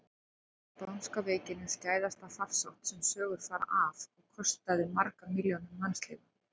Spánska veikin er skæðasta farsótt sem sögur fara af og kostaði margar milljónir mannslífa.